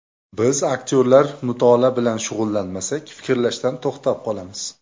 Biz aktyorlar mutolaa bilan shug‘ullanmasak, fikrlashdan to‘xtab qolamiz.